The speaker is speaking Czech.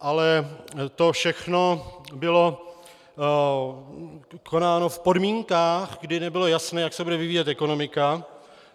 Ale to všechno bylo konáno v podmínkách, kdy nebylo jasné, jak se bude vyvíjet ekonomika.